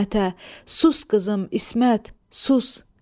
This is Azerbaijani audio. Sus qızım İsmət, sus.